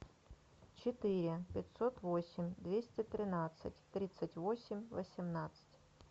четыре пятьсот восемь двести тринадцать тридцать восемь восемнадцать